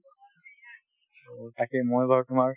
তাকে মই বাৰু তোমাৰ